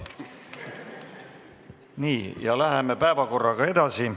Nii, läheme päevakorraga edasi.